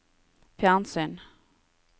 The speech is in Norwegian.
fjernsyn